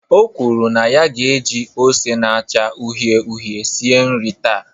O kwuru na ya ga-eji ose na-acha uhie uhie sie nri ya taa.